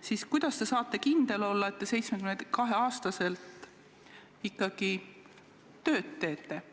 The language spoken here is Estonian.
siis kuidas te saate ikkagi kindel olla, et te 72-aastaselt veel tööd teete?